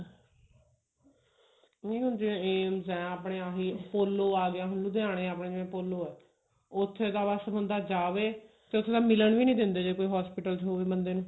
ਨਹੀਂ ਹੁਣ ਜਿਵੇਂ AIMS ਹੈ ਆਪਣੇ ਆਹੀ POLO ਆ ਗਿਆ ਹੁਣ ਲੁਧਿਆਣੇ ਆਪਣੇ ਜਿਵੇਂ POLO ਐ ਉੱਥੇ ਤਾਂ ਬਸ ਹੁੰਦਾ ਜਾਵੇ ਤੇ ਉੱਥੇ ਤਾਂ ਮਿਲਣ ਵੀ ਨਹੀਂ ਦਿੰਦੇ ਜੇ ਕੋਈ hospital ਚ ਹੋਵੇ ਬੰਦੇ ਨੂੰ